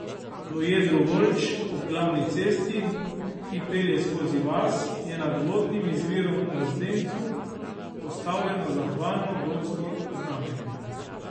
V jedru Volč, ob glavni cesti, ki pelje skozi vas, je nad vodnim izvirom Na zdencu postavljeno zahvalno gotsko znamenje.